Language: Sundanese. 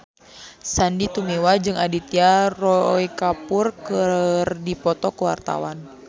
Sandy Tumiwa jeung Aditya Roy Kapoor keur dipoto ku wartawan